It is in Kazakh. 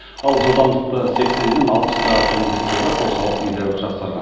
ал жылдамдықты сексеннен алпысқа төмендеткелі қозғалыс едәуір жақсарған